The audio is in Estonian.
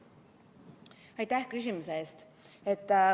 Aitäh küsimuse eest!